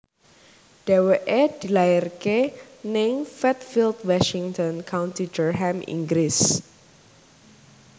Dhèwèké dilairaké ing Fatfield Washington County Durham Inggris